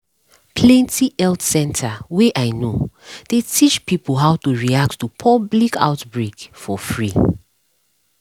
plenty health center wey i know dey teach pipo how to react to public outbreak for free